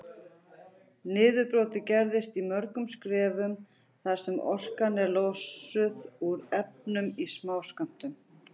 Niðurbrotið gerist í mörgum skrefum þar sem orkan er losuð úr efnunum í smáskömmtum.